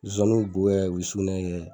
Nsonsaniw bi bo kɛ o bi sukunɛ kɛ.